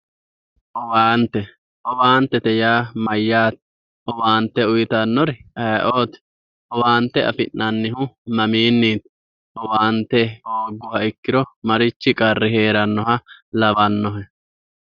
Owaante yaa mayate ? owaante uyittanori ayeeoti, owaante afi'nannihu maminiti, owaante hoongiro marchi qarri heeranoha lawanohe.